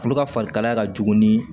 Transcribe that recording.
Olu ka farikalaya ka jugu ni